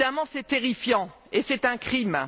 C'est terrifiant, et c'est un crime.